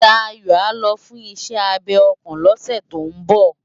Dayo á lò fùn iṣè ábé òkán lòsè tó n bò